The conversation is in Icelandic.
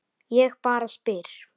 Ég bara spyr